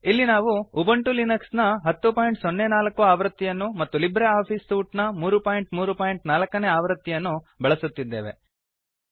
ಇಲ್ಲಿ ನಾವು Ubuntu Linux ನ 1004 ಆವೃತ್ತಿಯನ್ನು ಮತ್ತು ಲಿಬ್ರೆ ಆಫಿಸ್ ಸೂಟ್ ನ 334 ಆವೃತ್ತಿಯನ್ನು ಬಳಸುತ್ತಿದ್ದೇವೆ